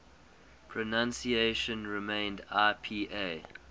pronunciation remained ipa